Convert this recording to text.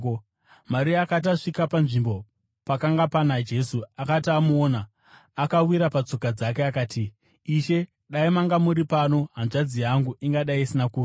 Maria akati asvika panzvimbo pakanga pana Jesu uye akamuona, akawira patsoka dzake akati, “Ishe, dai manga muri pano, hanzvadzi yangu ingadai isina kufa.”